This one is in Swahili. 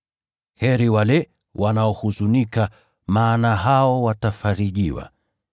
Heri wale wanaohuzunika, maana hao watafarijiwa.